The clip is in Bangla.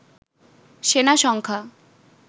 সেনা সংখ্যা